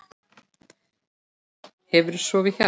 Hefurðu sofið hjá?